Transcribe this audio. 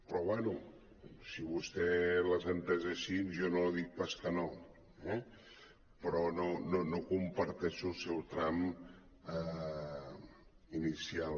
però bé si vostè les ha entès així jo no li dic pas que no eh però no comparteixo el seu tram inicial